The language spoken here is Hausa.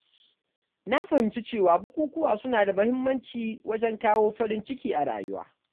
Na fahimci cewa bukukuwa suna da muhimmanci wajen kawo farin ciki a rayuwa.